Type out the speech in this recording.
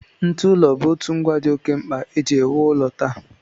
Ntụụlọ bụ otu ngwa dị oké mkpa e ji ewu ụlọ taa